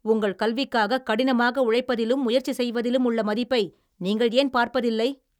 உங்கள் கல்விக்காக கடினமாக உழைப்பதிலும் முயற்சி செய்வதிலும் உள்ள மதிப்பை நீங்கள் ஏன் பார்ப்பதில்லை?